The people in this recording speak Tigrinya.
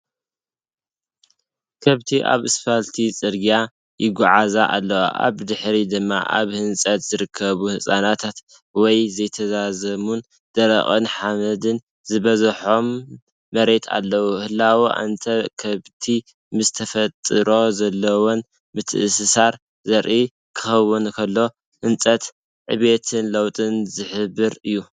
ከብቲ ኣብ ኣስፋልት ጽርግያ ይጓዓዛ ኣለዋ። ኣብ ድሕሪት ድማ ኣብ ህንጸት ዝርከቡ ህንጻታት ወይ ዘይተዛዘሙን ደረቕን ሓመድ ዝበዝሖን መሬት ኣለዉ። ህላወ እተን ከብቲ ምስ ተፈጥሮ ዘለወን ምትእስሳር ዘርኢ ክኸውን ከሎ፡ ህንጸት ዕብየትን ለውጥን ዝሕብር እዩ።